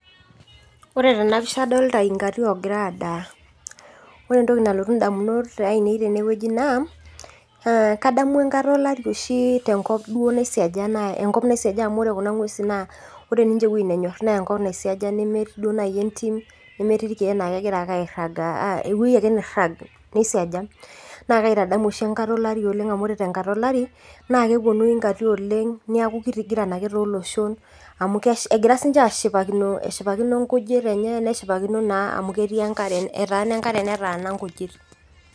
koree tena pishaa kadolitaa inkatii oo giraa adaaa koreee entoki nalotu indamunot ainei tenewueji naa kadumu enkata olari oshii duo teenkop naisiaja amuu koree kuna mwesin enkop oshiii ninchee nanyorr naa enkop naisiaja nemetii duo naii entim nemetii irkek naa kegiraa duo naii aake airagaa naa kaitadamu oshii enkata olari amuu koree te nkata olarii naa keponu inkatii oleng niaku kitigiran egira sininche ashipakino eshipakino nkujit enyee eshipakino naa amu keetaana enkaree neetana inkujit,